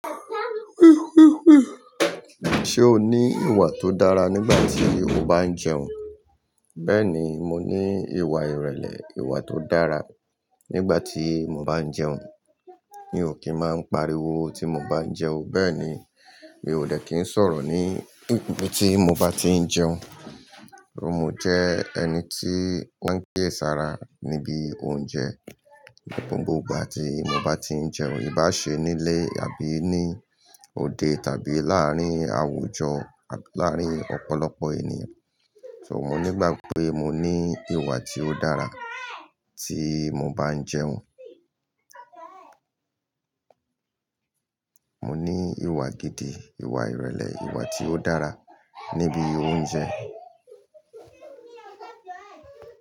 Ṣé o ní ìwà tó dára nígbà tí o bá ń jẹun? Bẹ́ẹ̀ni, mo ní ìwà ìrẹ̀lẹ̀, ìwà tó dára nígbà tí mo bá ń jẹun. Mi ò kí ń máa ń pariwo tí mo bá ń jẹun. Bẹ́ẹ̀ ni, mi ò dè kí ń sọ̀rọ̀ ní ibi tí mo bá tí ń jẹun. Mo jẹ́ ẹni tí o n kẹ̀ sára níbi oúnjẹ gbogbo ìgbà tí mo bá tí ń jẹun, ìbá ṣe nílé àbí ní òde tàbí láàárín àwùjọ, abi láàárín ọ̀pọ̀lọpọ̀ ènìyàn. So, mo nígbàgbo pé mo ní ìwà tí ó dára tí mo bá ń jẹun. Mo ní ìwà gidi, ìwà ìrẹ̀lẹ̀, ìwà tí ó dára níbi oúnjẹ.